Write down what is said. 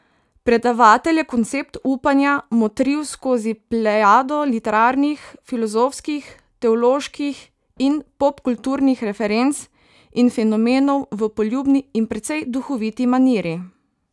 Predavatelj je koncept upanja motril skozi plejado literarnih, filozofskih, teoloških in popkulturnih referenc in fenomenov v poljubni in precej duhoviti maniri.